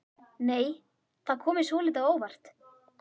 Nei! Það kom mér svolítið á óvart!